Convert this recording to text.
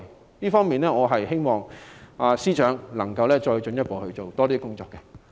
在這方面，我希望司長能夠再進一步做更多工作。